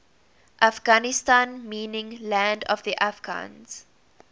afghanistan meaning land of the afghans